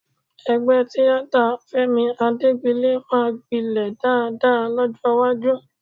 Ẹgbẹ́ tíátà Fẹ́mi Adégbilé máa gbilẹ̀ dáadáa lọ́jọ́ iwájú